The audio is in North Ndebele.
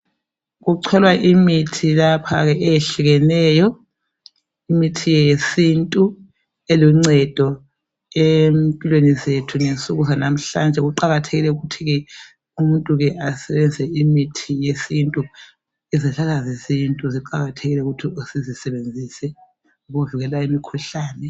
Kucholwa imithi lapha ke eyehlukeneyo imithi yesintu iluncedo empilweni zethu ngensuku zalamhlanje kuqakathekile ukuthi ke umuntu ke asebenzise imithi yesintu izihlahla zesintu ziqakathekile ukuthi sizisebenzise ukuvikela imikhuhlane.